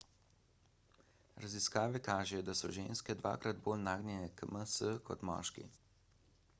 raziskave kažejo da so ženske dvakrat bolj nagnjene k ms kot moški